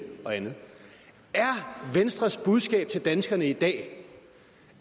og andet er venstres budskab til danskerne i dag